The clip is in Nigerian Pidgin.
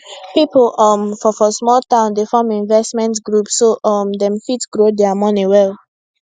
people um for for small town dey form investment group so um dem fit grow dia money well